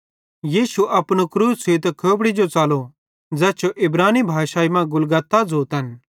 यीशु अपनू क्रूस छ़ुइतां खोपड़ी जो च़लो ज़ैस जो इब्रानी मां गुलगुता ज़ोतन